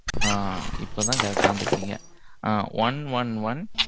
ஆ, இப்பதான், correct ஆ வந்துருக்கீங்க. ஆ one one one